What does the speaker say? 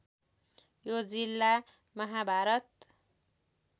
यो जिल्ला महाभारत